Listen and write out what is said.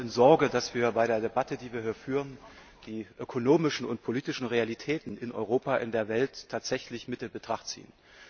Ich bin etwas in Sorge, dass wir bei der Debatte, die wir hier führen, die ökonomischen und politischen Realitäten in Europa und in der Welt tatsächlich mit in Betracht ziehen.